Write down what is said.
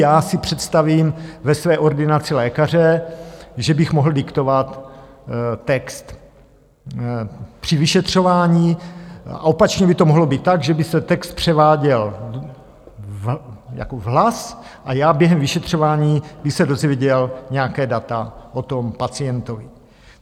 Já si představím ve své ordinaci lékaře, že bych mohl diktovat text při vyšetřování, a opačně by to mohlo být tak, že by se text převáděl jako hlas a já během vyšetřování bych se dozvěděl nějaká data o tom pacientovi.